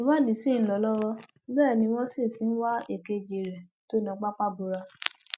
ìwádìí sì ń lọ lọwọ bẹẹ ni wọn sì sì ń wá èkejì rẹ tó na pápá bora